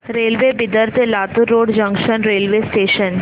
railway Bidar ते Latur road junction railway station